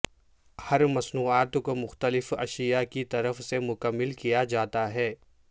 ہر مصنوعات کو مختلف اشیاء کی طرف سے مکمل کیا جاتا ہے